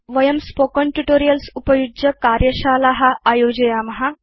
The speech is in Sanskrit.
वयं स्पोकेन ट्यूटोरियल्स् उपयुज्य कार्यशाला आयोजयाम